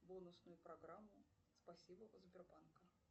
бонусную программу спасибо от сбербанка